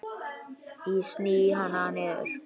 Ég sný hana niður.